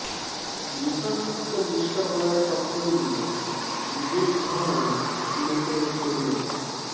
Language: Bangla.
দূষণমুক্ত বিশ্ব গড়ার স্বপ্ন নিয়ে বিদেশ ভ্রমণে সিলেটের তরুণ